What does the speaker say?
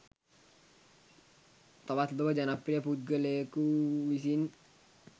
තවත් ලොව ජනප්‍රිය පුද්ගලයකු වුවිසින්